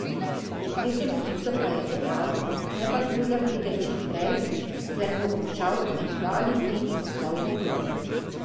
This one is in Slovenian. V tretjem klicu pa je dejal, naj patrulja pride čim prej, sicer bo končal in dva ali tri poslal v grob.